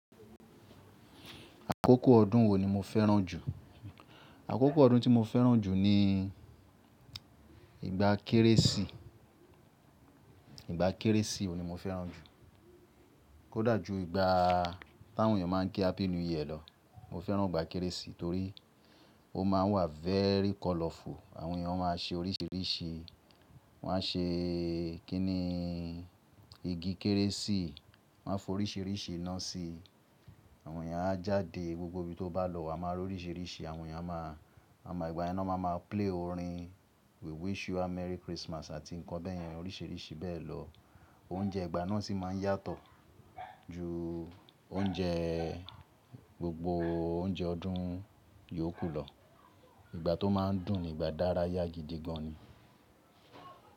Àkókò ọdún wo ni mo fẹ́ràn jù? Àkókò ọdún tí mo fẹ́ràn jù ni ìgbà Kérésì. Ìgbà Kérésì òun ni mo fẹ́ràn jù. Ó dà jú ìgbà táwọn èèyàn máa ń ké Happy New Year lọ. Mo fẹ́ràn ìgbà Kérésì torí ó máa ń wà very colorful. Àwọn èèyàn máa ń ṣe oríṣìíríṣìí. Wọ́n á ṣe kíni igi Kérésì, wọ́n á foríṣìíríṣìí iná sí i. Àwọn èèyàn á jáde, gbogbo ibi tó bá lọ wà máa roríṣìíríṣìí àwọn èèyàn a máa, a máa ìgbà yẹn náà máa ma play orin We Wish You a Merry Christmas àti ǹkan bẹ́ẹ̀yẹn oríṣìíríṣìí bẹ́ẹ̀ lọ. Oúnjẹ ìgbà náà sì máa ń yàtọ̀ ju oúnjẹ gbogbo oúnjẹ ọdún yòókù lọ. Ìgbà tó máa ń dùn ni ìgbà dára yá gidi gan ni.